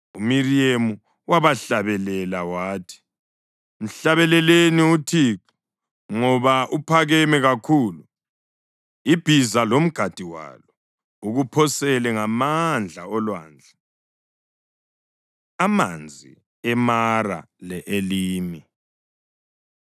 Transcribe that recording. UMiriyemu wabahlabelela wathi: “Mhlabeleleni uThixo ngoba uphakeme kakhulu. Ibhiza lomgadi walo ukuphosele ngamandla olwandle.” Amanzi EMara Le-Elimi